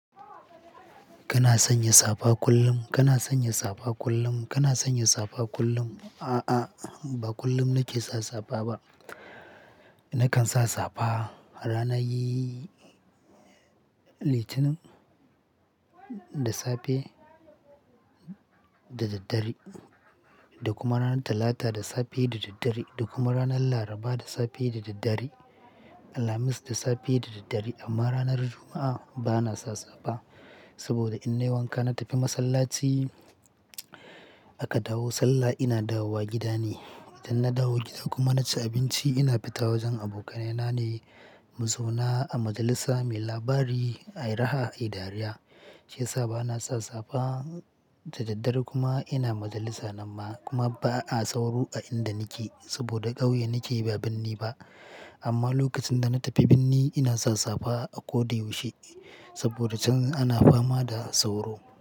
Kana sanya safa kullum, kana sanya safa kullum, kana sanya safa kullum? A'a, ba kullum nake sa safa ba. Nakan sa safa ranar yi Litinin da safe da daddare da kuma ranar Talata da safe da daddare da kuma ranar Laraba da safe da daddare, Alhamis da safe da daddare. Amma ranar Juma'a bana sa safa saboda in nai wanka na tafi masallaci. Aka dawo sallah ina dawowa gida ne. Idan na dawo gida kuma na ci abinci ina fita wajen abokanai na ne mu zauna a majalisa muyi labari, ai raha ai dariya. Shiyasa bana sa safa da daddare kuma ina majalisa nan ma kuma ba a sauro a inda nake saboda ƙauye nake ba binni ba. Amma lokacin da na tafi birni ina sa safa a ko da yaushe saboda can ana fama da sauro.